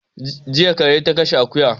Jiya kura ta kashe akuya